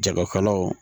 Jagokɛlaw